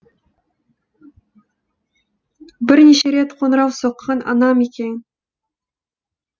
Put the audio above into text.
бірнеше рет қоңырау соққан анам екен